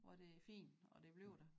Hvor det er fint og det bliver der